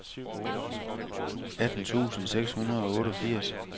atten tusind seks hundrede og otteogfirs